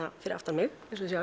fyrir aftan mig